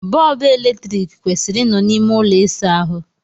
Bọọbụ eletrik kwesịrị ị nọ na ime ụlọ ịsa ahụ.